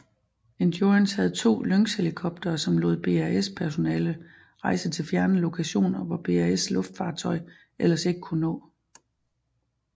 Endurance havde to Lynxhelikoptere som lod BAS personale rejse til fjerne lokationer hvor BAS luftfartøj ellers ikke kunne nå